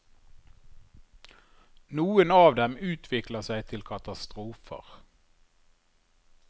Noen av dem utvikler seg til katastrofer.